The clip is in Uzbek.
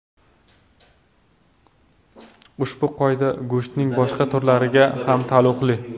Ushbu qoida go‘shtning boshqa turlariga ham taalluqli.